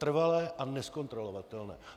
Trvalé a nezkontrolovatelné.